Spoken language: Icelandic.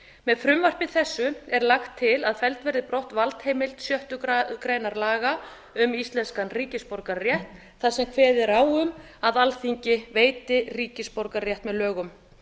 með frumvarpi þessu er lagt til að felld verði brott valdheimild sjöttu grein laga um íslenskan ríkisborgararétt þar sem kveðið er á um að alþingi veiti ríkisborgararétt með lögum